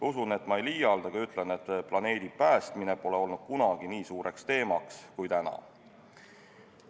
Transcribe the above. Usun, et ma ei liialda, kui ütlen, et planeedi päästmine pole olnud kunagi nii tähtis teema kui täna.